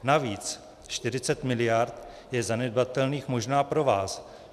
Navíc 40 mld. je zanedbatelných možná pro vás.